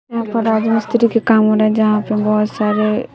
यहां पर राजमिस्त्री के काम हो रहा है। जहां पे बहोत सारे--